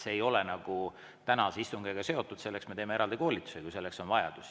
See ei ole tänase istungiga seotud, selleks me teeme eraldi koolituse, kui selleks on vajadus.